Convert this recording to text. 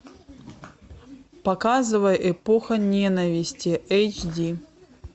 показывай эпоха ненависти эйч ди